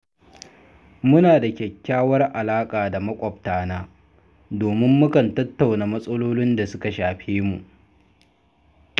Muna da kyakkyawar alaƙa da maƙwabtana, domin mukan tattauna matsalolin da suka shafe mu.